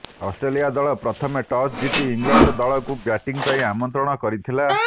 Australia ଦଳ ପ୍ରଥମେ toss ଜିତି ଇଂଲଣ୍ଡ ଦଳକୁ ବ୍ୟାଟିଂ ପାଇଁ ଆମନ୍ତ୍ରଣ କରିଥିଲା